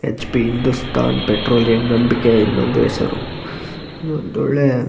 H P Hindustan Petroleum ನಂಬಿಕೆಯ ಇನ್ನೊಂದು ಹೆಸರು ಇದೊಂದು ಒಳ್ಳೆ --